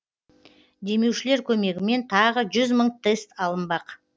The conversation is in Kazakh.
демеушілер көмегімен тағы жүз мың тест алынбақ